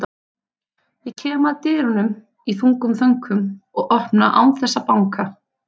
Ég kem að dyrunum í þungum þönkum og opna án þess að banka.